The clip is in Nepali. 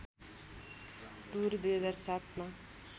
टुर २००७ मा